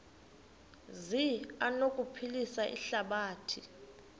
zi anokuphilisa ihlabathi